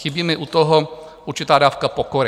Chybí mi u toho určitá dávka pokory.